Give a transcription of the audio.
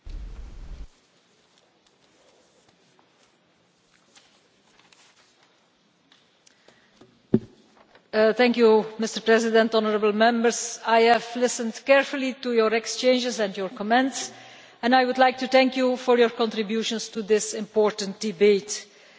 Mr President, I have listened carefully to your exchanges and your comments and I would like to thank you for your contributions to this important debate. The proposal that is now on the table takes into account most of the concerns expressed by Members at the different stages